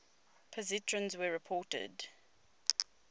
positrons were reported